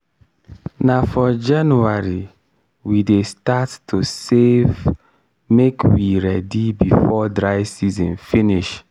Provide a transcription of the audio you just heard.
na for january we dey start to save make we ready before dry season finish.